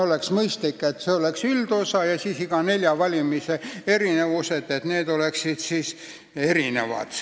Oleks mõistlik, et oleks üldosa ja kõigi nelja valimise erinevused oleksid eraldi.